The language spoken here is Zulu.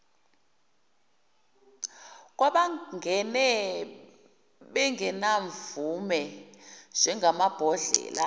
kwabangene bengenamvume njengamabhodlela